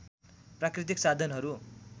प्राकृतिक साधनहरू